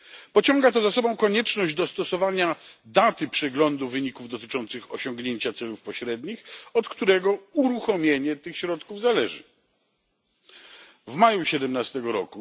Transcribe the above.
Pociąga to za sobą konieczność dostosowania daty przeglądu wyników dotyczących osiągnięcia celów pośrednich, od którego zależy uruchomienie tych środków. W maju 2017 r.